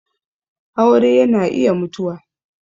aure yana iya mutuwa.